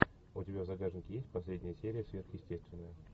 у тебя в загашнике есть последняя серия сверхъестественное